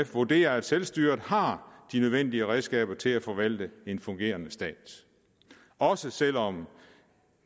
vurderer at selvstyret har de nødvendige redskaber til at forvalte en fungerende stat også selv om